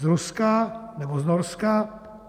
Z Ruska, nebo z Norska?